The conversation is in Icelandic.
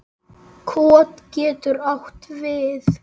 Kot getur átt við